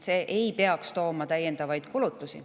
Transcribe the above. See ei peaks tooma täiendavaid kulutusi.